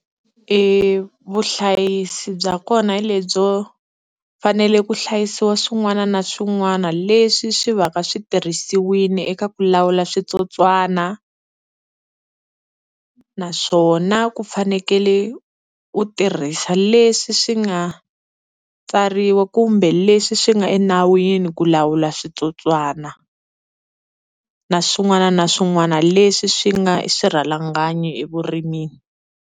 E vuhlayisi bya kona hi lebyo fanele ku hlayisiwa swin'wana na swin'wana leswi swi va ka switirhisiwile eka ku lawula switsotswana. Naswona ku fanekele u tirhisa leswi swi nga tsariwa kumbe leswi swi nga enawini ku lawula switsotswana na swin'wana na swin'wana leswi swi nga swirhalanganyi evurimini.